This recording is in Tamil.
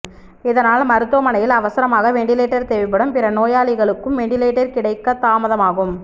இதனால் மருத்துவமனையில் அவசரமாக வெண்டிலேட்டர் தேவைபடும் பிற நோயாளிகளுக்கும் வெண்டிலேட்டர் கிடைக்கத் தாமதமாகும்